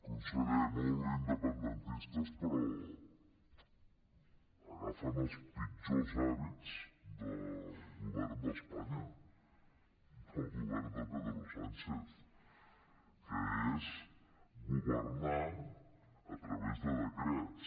conseller molt independentistes però agafen els pitjors hàbits del govern d’espanya del govern de pedro sánchez que és governar a través de decrets